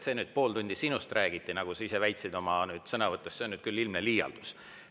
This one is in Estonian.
See, et pool tundi sinust räägiti, nagu sa väitsid oma sõnavõtus, on nüüd küll ilmne liialdus.